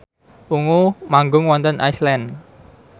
Ungu manggung wonten Iceland